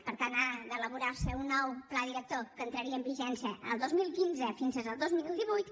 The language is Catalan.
per tant ha d’elaborar se un nou pla director que entraria en vigència el dos mil quinze fins al dos mil divuit